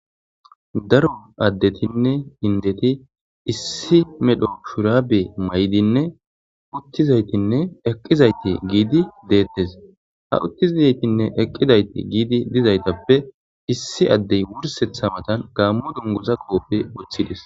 Daro addetinne inddeti issi medho shuraabe mayidinne wochchizaytinne xeellizayti eqqidayti giidi deettes. Ha uttizaytinne eqqizayti dizaytinne eqqi dizayti giidi dizaytappe issi addey wursseththa matan gaammo dunguza qoope woththides.